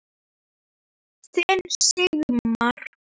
Þinn Sigmar.